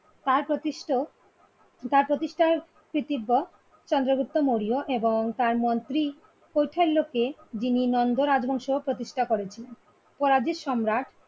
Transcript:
তার প্রতিষ্ঠ তার প্রতিষ্ঠা ক্রিতিব্ব চন্দ্রগুপ্ত মৌর্য এবং তার মন্ত্রি কউসাল্ল কে জিনি নন্দ রাজবংশ কে প্রতিষ্ঠা করেছেন করাজিত সম্রাট